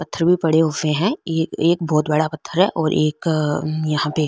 पत्थर भी पड़े हुए है एक एक बहोत बड़ा पत्थर है और एक यहाँ पे --